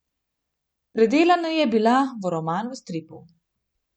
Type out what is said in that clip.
Predelana je bila v roman v stripu.